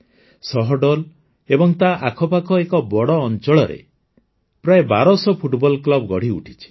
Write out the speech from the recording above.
ସହଡୋଲ୍ ଏବଂ ତା ଆଖପାଖ ଏକ ବଡ଼ ଅଞ୍ଚଳରେ ପ୍ରାୟ ବାରଶହ ଫୁଟବଲ କ୍ଲବ ଗଢ଼ିଉଠିଛି